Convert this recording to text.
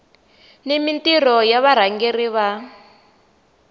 ni mintirho ya varhangeri va